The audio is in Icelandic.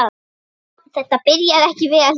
Þetta byrjaði ekki vel.